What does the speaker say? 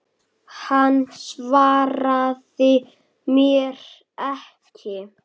Hann svaraði mér ekki.